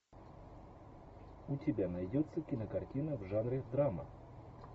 у тебя найдется кинокартина в жанре драма